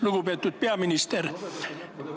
Lugupeetud peaminister!